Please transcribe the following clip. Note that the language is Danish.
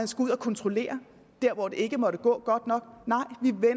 skal ud og kontrollere der hvor det ikke måtte gå godt nok